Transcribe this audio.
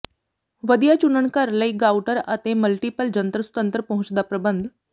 ਵਧੀਆ ਚੁਣਨ ਘਰ ਲਈ ਰਾਊਟਰ ਅਤੇ ਮਲਟੀਪਲ ਜੰਤਰ ਸੁਤੰਤਰ ਪਹੁੰਚ ਦਾ ਪ੍ਰਬੰਧ